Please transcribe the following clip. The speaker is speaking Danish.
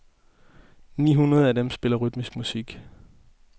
Ni hundrede af dem spiller rytmisk musik.